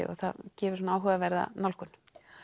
það gefur svona áhugaverða nálgun